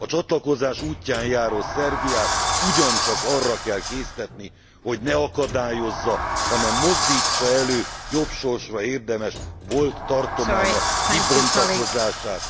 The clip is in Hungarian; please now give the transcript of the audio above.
A csatlakozás útján járó Szerbiát ugyancsak arra kell késztetni, hogy ne akadályozza, hanem mozdítsa elő jobb sorsra érdemes volt tartománya kibontakozását.